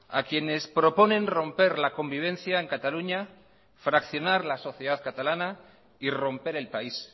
a quienes proponen romper la convivencia en cataluña fraccionar la sociedad catalana y romper el país